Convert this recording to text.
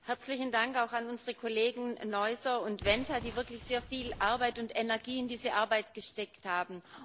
Herzlichen Dank auch an unsere Kollegen Neuser und Wenta, die wirklich sehr viel Arbeit und Energie in diese Arbeit gesteckt haben.